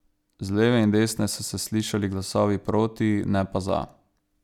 Z leve in desne so se slišali glasovi proti, ne pa za.